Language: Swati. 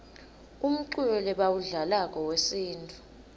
umculo lebawudlalako wesintfu